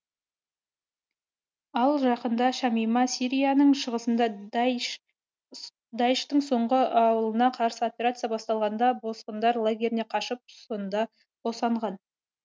ал жақында шамима сирияның шығысында даиш тың соңғы ауылына қарсы операция басталғанда босқындар лагеріне қашып сонда босанған